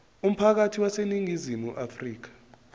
umphakathi waseningizimu afrika